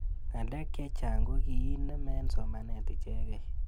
Ng'alek chechang' ko kiinem eng' somanet ichekei